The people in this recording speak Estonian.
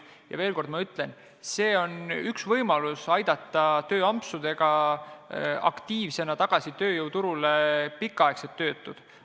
Ja ma ütlen veel kord: tööampsud on üks võimalus aidata tööjõuturule aktiivselt tagasi pikaaegsed töötud.